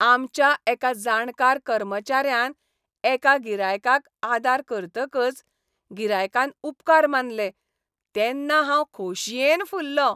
आमच्या एका जाणकार कर्मचाऱ्यान एका गिरायकाक आदार करतकच गिरायकान उपकार मानलें तेन्ना हांव खोशयेन फुललों